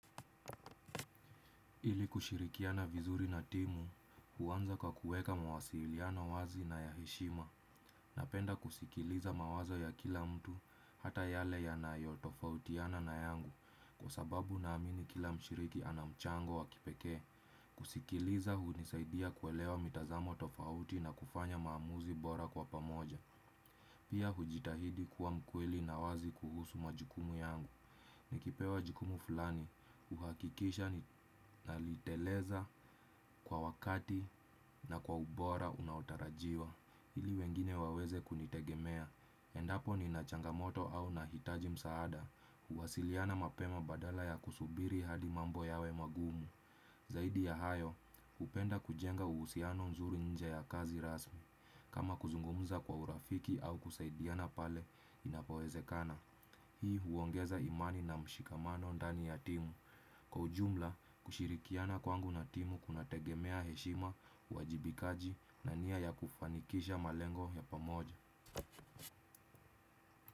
Ili kushirikia na vizuri na timu, huanza kwa kuweka mawasiliano wazi na ya heshima, napenda kusikiliza mawazo ya kila mtu, hata yale yanayo tofautiana na yangu, kwa sababu na amini kila mshiriki anamchango wa kipekee. Kusikiliza, hunisaidia kuelewa mitazamo tofauti na kufanya maamuzi bora kwa pamoja. Pia hujitahidi kuwa mkweli na wazi kuhusu majukumu yangu. Nikipewa jukumu fulani, uhakikisha nalitekeleza kwa wakati na kwa ubora unaotarajiwa, ili wengine waweze kunitegemea, endapo nina changamoto au nahitaji msaada huwasiliana mapema badala ya kusubiri hadi mambo yawe magumu. Zaidi ya hayo, hupenda kujenga uhusiano mzuri nje ya kazi rasmi. Kama kuzungumza kwa urafiki au kusaidiana pale inapowezekana. Hii huongeza imani na mshikamano ndani ya timu. Kwa ujumla, kushirikiana kwangu na timu kunategemea heshima uajibikaji na nia ya kufanikisha malengo ya pamoja.